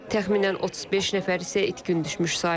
Təxminən 35 nəfər isə itkin düşmüş sayılır.